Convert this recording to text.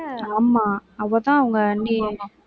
ஆமா. அவதான் அவங்க அண்ணிய